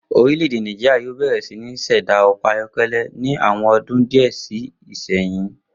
Orílè̩-èdè Nàìjíríà yóò bè̩rè̩ sí ní s̩è̩dá o̩kò̩ ayó̩ké̩lé̩ ní àwo̩n o̩dún díè̩ sí ìsinyìí